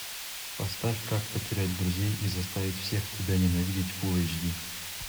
поставь как потерять друзей и заставить всех тебя ненавидеть фул эйч ди